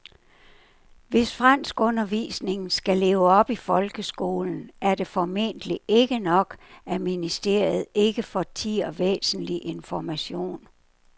Hvis franskundervisningen skal leve i folkeskolen er det formentlig ikke nok, at ministeriet ikke fortier væsentlig information.